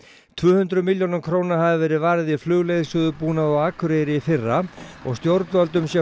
tvöhundruð milljónum króna hafi verið varið í flugleiðsögubúnað á Akureyri í fyrra og stjórnvöldum sé